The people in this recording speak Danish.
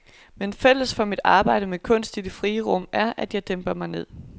Men fælles for mit arbejde med kunst i det frie rum er, at jeg dæmper mig ned.